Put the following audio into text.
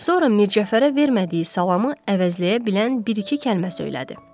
Sonra Mircəfərə vermədiyi salamı əvəzləyə bilən bir-iki kəlmə söylədi.